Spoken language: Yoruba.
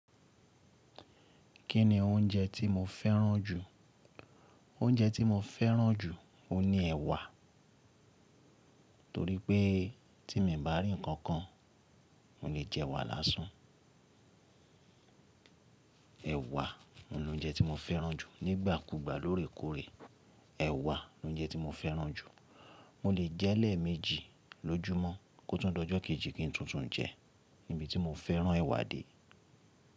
Kí ni oúnjẹ tí mo fẹ́ràn jù? Oúnjẹ tí mo fẹ́ràn jù ni ẹ̀wà torí pé tí mo ò bá rí ǹkankan, mo lè jẹ ẹ̀wà lásán. Ẹ̀wà ni oúnjẹ tí mo fẹ́ràn jù. Nígbàkúgbà lórèkórè, ẹ̀wà ni oúnjẹ tí mo fẹ́ràn jù. Mo lè jẹ́ lẹ́ẹ̀méjì lójúmọ́ kó tún dojọ́ kejì kí n tún tún jẹ. Nibi tí mo fẹ́ràn ẹ̀wà dé.